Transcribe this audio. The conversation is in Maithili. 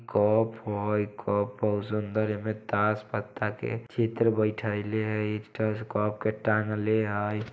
कप हय कप बहोत सुन्दर हय। कप में तास पत्ता के चित्र बैठैले हय। तान ले हय।